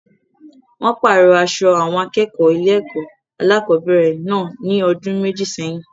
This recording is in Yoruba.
Wọ́n pàrọ̀ aṣọ àwọn akẹ́kọ̀ọ́ ilé-ẹ̀kọ́ alákọ̀ọ́bẹ̀rẹ̀ náà ní ọdún méjì sẹ́yìn.